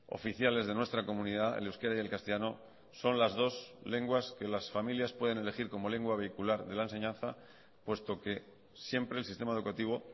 oficiales de nuestra comunidad el euskera y el castellano son las dos lenguas que las familias pueden elegir como lengua vehicular de la enseñanza puesto que siempre el sistema educativo